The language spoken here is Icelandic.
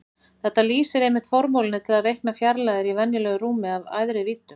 Þetta lýsir einmitt formúlunni til að reikna fjarlægðir í venjulegu rúmi af æðri víddum.